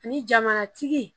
Ani jamanatigi